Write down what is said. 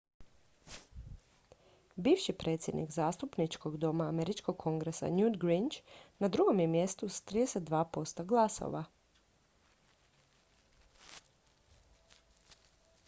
bivši predsjednik zastupničkog doma američkog kongresa newt gingrich na drugom je mjestu s 32 posto glasova